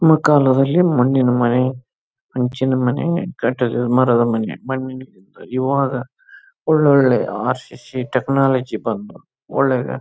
ನಮ್ಮ ಕಾಲದಲ್ಲಿ ಮಣ್ಣಿನ ಮನೆ ಹಂಚಿನ ಮನೆ ಕಟಡ್ ಮರದ ಮನೆ ಇವಾಗ ಒಳ್ಳೊಳ್ಳೆ ಅರಸಿಸಿ ಟೆಕ್ನಾಲಜಿ ಬಂದು ಒಳ್ಳೆ--